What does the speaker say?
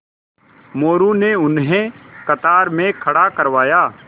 मोरू ने उन्हें कतार में खड़ा करवाया